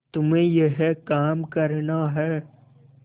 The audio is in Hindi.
तुम्हें यह काम करना है